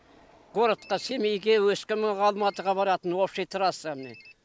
городқа семейге өскемен алматыға баратын общий трасса міне